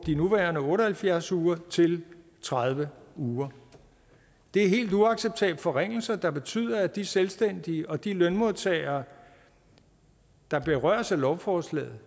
de nuværende otte og halvfjerds uger til tredive uger det er helt uacceptable forringelser der betyder at de selvstændige og de lønmodtagere der berøres af lovforslaget